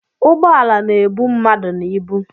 Ugboala na-ebu mmadụ na ịbụ